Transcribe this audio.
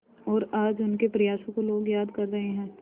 और आज उनके प्रयासों को लोग याद कर रहे हैं